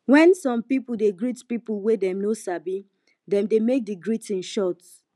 when some pipo dey greet pipo wey dem no sabi dem dey make di greeting short